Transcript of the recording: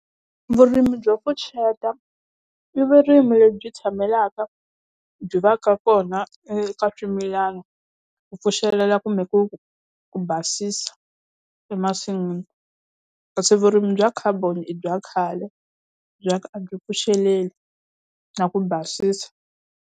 Vurimi byo pfuxeta, i vurimi lebyi tshamelaka byi va ka kona eka swimilana ku pfuxelela kumbe ku ku basisa emasin'wini. Kasi vurimi bya khaboni i bya khale bya ku a byi pfuxeleli na ku basisa.